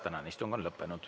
Tänane istung on lõppenud.